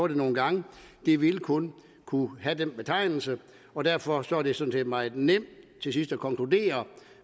nogle gange og det vil kun kunne have den betegnelse og derfor sådan set meget nemt til sidst at konkludere